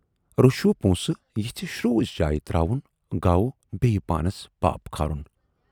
رشوٕ پونسہٕ یِژھٕ شروٗژ جایہِ تراوُن گَو بییہِ پانَس پاپھ کھارُن۔